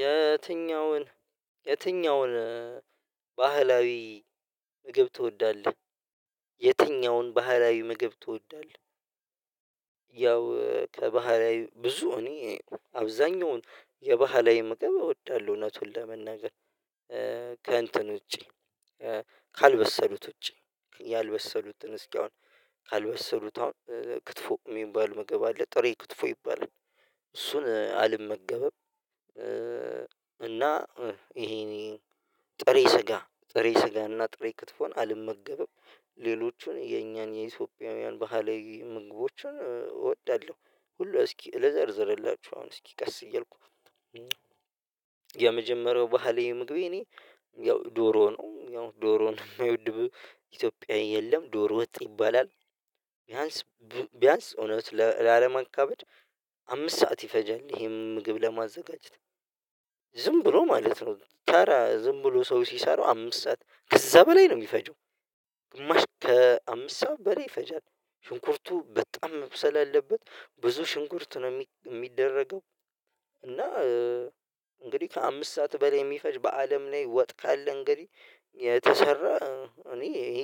የትኛውን የትኛውን ባህላዊ ምግብ ትወዳለህ የትኛውን ባህላዊ ምግብ ትወዳለህ? ያው ከባህላዊ ብዙ እኔ አብዛኛውን የባህላዊ ምግብ እወዳለሁ። እውነቱን ለመናገር ከእንትን ውጪ ካልበሰሉት ውጪ ያልበሰሉትን እስኪ አሁን ካልበሰሉት አሁን ክትፎ የሚባል ምግብ አለ ጥሬ ክትፎ ይባላል እሱን አልመገበብ አልመገበም። እና ይሄን ጥሬ ስጋ ጥሬ ስጋ እና ጥሬ ክትፎን አልመገበም ሌሎቹን የኛን የኢትዮጵያውያን ባህል ምግቦችን እወዳለሁ። ሁሉ እስኪ ልዘርዝርላችሁ አሁን እስኪ ቀስ እያልኩ የመጀመሪያው ባህሌ ምግብ የኔ ያው ዶሮ ነው ያው ዶሮ ነው የማይወድ ኢትዮጵያ የለም ዶሮ ወጥ ይባላል። ቢያንስ ቢያንስ እውነት ለለማካበድ አምስት ሰዓት ይፈጀል ይሄን ምግብ ለማዘጋጀት ዝም ብሎ ማለት ነው ዝም ብሎ ሰው ሲሰሩ አምስት ሰዓት ከዛ በላይ ነው የሚፈጀው። የሚፈጂው ከአምስት ሰው በላይ ፈጃት ሽንኩርቱ በጣም መብሰል አለበት ብዙ ሽንኩርት ነው የሚደረገው። እና እንግዲህ ከአምስት ሰዓት በላይ የሚፈጅ በአለም ላይ ወጥ ካለ እንግዲህ የተሰራ እኔ ይሄ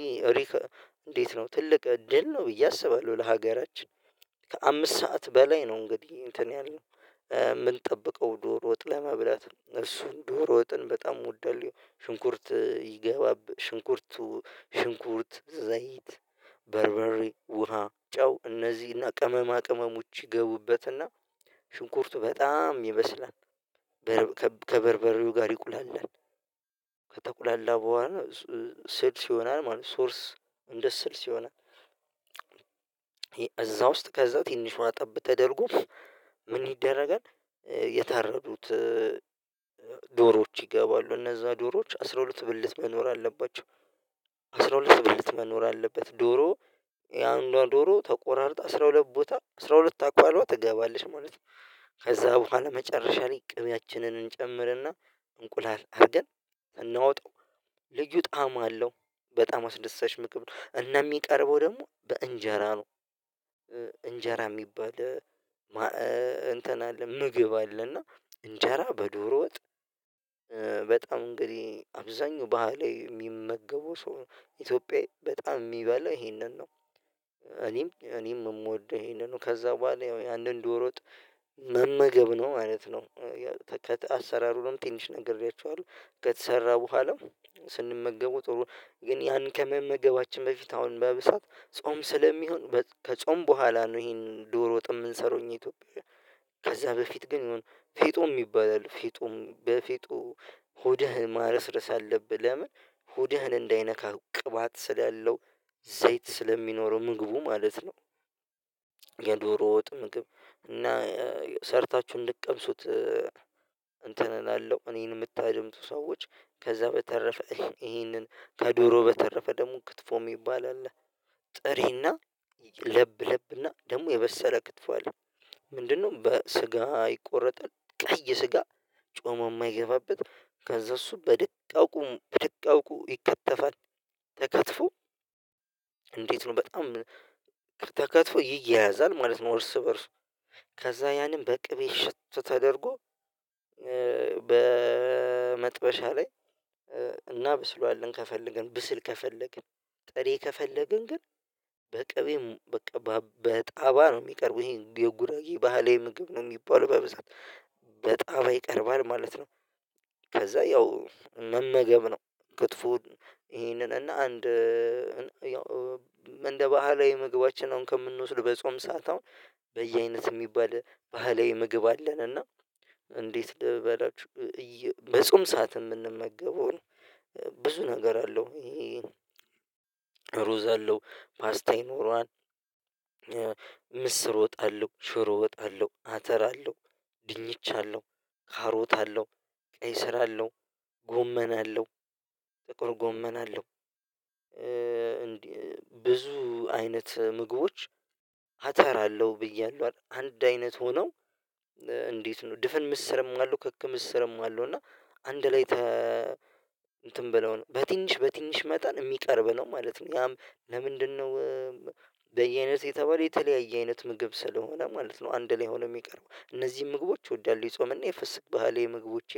እንዴት ነው ትልቅ እድል ነው ብዬ አስባለሁ ለሀገራችን ከአምስት ሰዓት በላይ ነው። እንግዲህ እንትን ያለው የምንጠብቀው ዶሮ ወጥ ለመብላት እሱን ዶሮ ወጥን በጣም ወዳለው ሽንኩርት ይገባብህ ሽንኩርቱ ሽንኩርት ዘይት በርበሬ ውሃ ጨው እነዚህና ቀመማ ቀመሞች ይገቡበትና ሽንኩርቱ በጣም ይበስላል። ከበርበሬው ጋር ይቁላል ከተቁላላ በኋላ ስልስ ይሆናል ማለት ሶርስ እንደ ስልስ ይሆናል። እዛ ውስጥ ከዛ ትንሽ ዋጠብ ተደርጎ ምን ይደረጋል የተረዱት የታረዱት ዶሮዎች ይገባሉ እነዛ ዶሮዎች አስራ ሁለት ብልት መኖር አለባቸው። አስራ ሁለት ብልት መኖር አለበት ዶሮ የአንዷ ዶሮ ተቆራርጧል አስራ ሁለት ቦታ አስራ ሁለት አካልዋ ትገባለሽ ማለት ነው። ከዛ በኋላ መጨረሻ ላይ ቅቢያችንን እንጨምርና እንቁላል አድርገን እናውጣው ልዩ ጣዕም አለው በጣም አስደሳች ምግብ ነው። እና የሚቀርበው ደግሞ በእንጀራ ነው እንጀራ የሚባል እንትን አለ ምግብ አለ እና እንጀራ በዶሮ ወጥ በጣም እንግዲህ አብዛኛው ባህሌ የሚመገበው ሰው ኢትዮጵያዊ በጣም የሚበላ ይሄንን ነው። እኔም እኔም የምወደው ይሄንን ነው ከዛ በኋላ ያንን ዶሮ መመገብ ነው ማለት ነው። ከአሰራሩ ነው ትንሽ ነግሬያችኋለሁ ከተሰራ በኋላ ስንመገበው ጥሩ ግን ያን ከመመገባችን በፊት አሁን በብዛት ጾም ስለሚሆን ከጾም በኋላ ነው ይሄን ዶሮ ወጥ የምንሰራው እኛ ኢትዮጵያን ከዛ በፊት ግን ይሁን ፊጦም ይባላል ፊጦም በፊጦ ሆድህን ማረስረስ አለብህ ለምን ሆድህን እንዳይነካ ቅባት ስላለው ዘይት ስለሚኖረው ምግቡ ማለት ነው። የዶሮ ወጥ ምግብ እና ሰርታችሁ እንድትቀምሱት እንትን እላለሁ እኔን የምታደምጡ ሰዎች ከዛ በተረፈ ይሄንን ከዶሮ በተረፈ ደግሞ ክትፎ የሚባል አለ። ጥሬና ለብ ለብና ደግሞ የበሰለ ክትፎ አለ። ምንድነው በስጋ ይቆረጣል ቀይ ስጋ ጮሞ የማይገባበት ከዛ እሱ በደቃቁም በድቃው ቁም ይከተፋል። ተከትፎ እንዴት ነው በጣም ተከትፎ ይያያዛል ማለት ነው። እርስ በእርስ ከዛ ያንን በቅቤ ሽት ተደርጎ በመጥበሻ ላይ እናብስለዋለን ከፈለግን ብስል ከፈለግን ጥሬ ከፈለግን ግን በቀቤም በቅቤም በጣባ ነው የሚቀርበው ይሄን የጉራጌ ባህሌ ምግብ ነው የሚባለው በብዛት በጣባ ይቀርባል ማለት ነው። ከዛ ያው መመገብ ነው ክፎውን ይሄንን እና አንድ እንደ ባህላዊ ምግባችን አሁን ከምንወስደው በጾም ሰዓት አሁን በየአይነት የሚባል ባህላዊ ምግብ አለን። እና እንዴት ልበላችሁ? በጾም ሰዓት የምንመገበው ብዙ ነገር አለው ይሄ ነው ሩዝ አለው ፖስታ ይኖረዋል ምስር ወጥ አለሁ ሽሮ ወጥ አለው አተር አለው ድንች አለሁ ካሮት አለው ቀይስር አለው ጎመና አለው ጥቁር ጎመና አለው። እንዴ ብዙ አይነት ምግቦች አተራለሁ ብያለሁ አንድ አይነት ሆነው እንዴት ነው ድፍን ምስርም አለው ክክምስርም አለው እና አንድ ላይ እንትን ብለው በትንሽ በትንሽ መጠን የሚቀርብ ነው ማለት ነው። ያም ለምንድነው? በየአይነት የተባለ የተለያየ አይነት ምግብ ስለሆነ ማለት ነው አንድ ላይ ሆኖ የሚቀርቡ እነዚህን ምግቦች እወዳለው የጾምና የፍስክ ባህሌ ምግቦች